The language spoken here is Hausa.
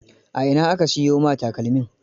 A ina aka siyo ma takalmin?